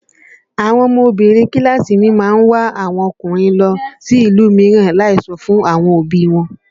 Àwọn ọmọbinrin kíláàsì mi a máa wá ọkùnrin lọ sí ìlú mìíràn láì sọ fún àwọn òbí i wọn